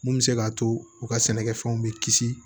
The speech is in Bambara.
Mun bɛ se k'a to u ka sɛnɛkɛfɛnw bɛ kisi